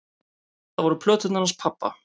Það voru plöturnar hans pabba.